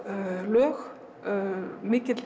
lög mikill